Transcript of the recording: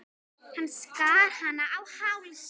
Hann skar hana á háls.